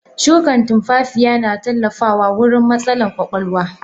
Shukan tunfafiya na tallafawa wurin matsalan kwakwalwa.